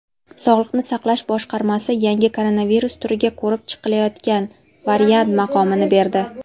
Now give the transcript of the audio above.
"Sog‘liqni saqlash boshqarmasi yangi koronavirus turiga "ko‘rib chiqilayotgan variant" maqomini berdi.